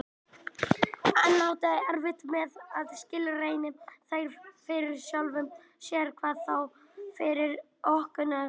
Hann átti erfitt með að skilgreina þær fyrir sjálfum sér, hvað þá fyrir ókunnugum manni.